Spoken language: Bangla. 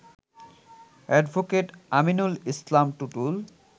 অ্যাডভোকেট আমিনুল ইসলাম টুটুল